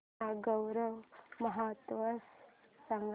नागौर महोत्सव सांग